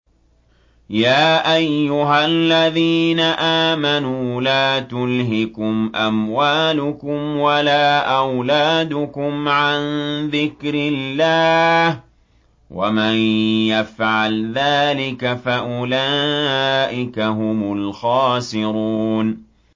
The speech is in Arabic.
يَا أَيُّهَا الَّذِينَ آمَنُوا لَا تُلْهِكُمْ أَمْوَالُكُمْ وَلَا أَوْلَادُكُمْ عَن ذِكْرِ اللَّهِ ۚ وَمَن يَفْعَلْ ذَٰلِكَ فَأُولَٰئِكَ هُمُ الْخَاسِرُونَ